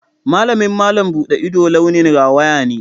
Malamin malam buɗe ido launin rawaya ne.